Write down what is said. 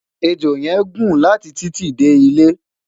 ẹjọ yen gún láti titi De ilé